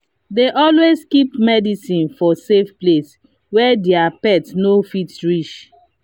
they dey always keep medicines for safe place where their pet no fit reach.